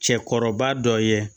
Cɛkɔrɔba dɔ ye